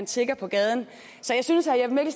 tigger på gaden så jeg synes